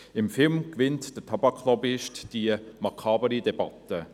Im Film gewinnt der Tabak-Lobbyist diese makabre Debatte.